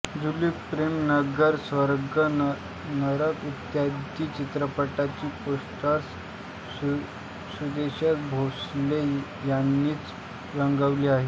जूली प्रेमनगर स्वर्ग नरक इत्यादी चित्रपटांची पोस्टर्स सुदेश भोसले यांनीच रंगवली आहेत